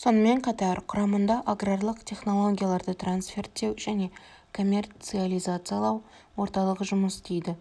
сонымен қатар құрамында аграрлық технологияларды трасферттеу және коммерциализациялау орталығы жұмыс істейді